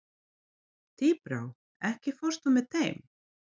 Tíbrá, ekki fórstu með þeim?